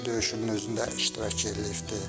Aprel döyüşünün özündə iştirak eləyibdir.